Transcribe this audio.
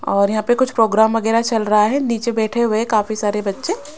और यहां पे कुछ प्रोग्राम वगैरा चल रहा है नीचे बैठे हुए काफी सारे बच्चे--